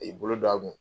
E bolo don a kun